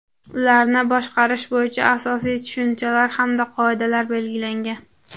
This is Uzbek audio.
ularni boshqarish bo‘yicha asosiy tushunchalar hamda qoidalar belgilangan.